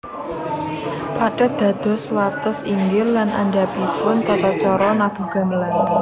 Pathet dados wates inggil lan andhapipun tata caca nabuh gamelan